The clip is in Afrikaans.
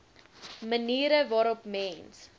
maniere waarop mens